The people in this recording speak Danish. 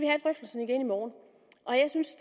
have drøftelsen igen i morgen og jeg synes